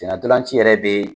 Sen na ntolan ci yɛrɛ be